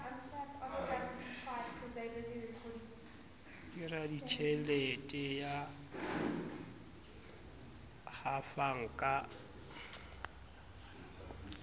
ke raditjhelete ya hafang ka